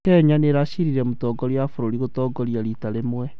Kenya nĩracirire mũtongoria wa bũrũri gũtongoria rita rĩmwe